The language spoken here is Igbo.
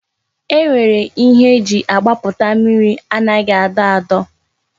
E nwere ihe e ji agbaputa mmiri anaghị adọ adọ